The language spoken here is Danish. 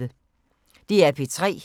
DR P3